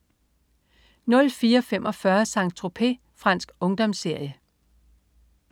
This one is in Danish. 04.45 Saint-Tropez. Fransk ungdomsserie